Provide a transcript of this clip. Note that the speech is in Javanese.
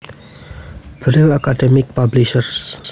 Brill Academic Publishers